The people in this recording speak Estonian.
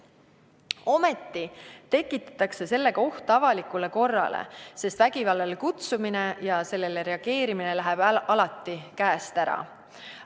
Ometi tekitatakse oht avalikule korrale, sest vägivallale kutsumine ja sellele reageerimine läheb alati käest ära.